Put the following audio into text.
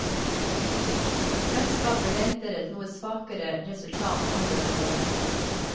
Selskapet venter et noe svakere resultat i andre halvår.